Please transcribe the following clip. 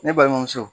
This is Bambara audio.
Ne balimamuso